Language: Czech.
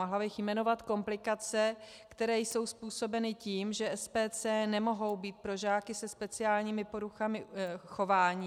Mohla bych jmenovat komplikace, které jsou způsobeny tím, že SPC nemohou být pro žáky se speciálními poruchami chování.